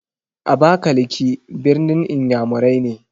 Abakalaki ɓirnin iyamurai ne.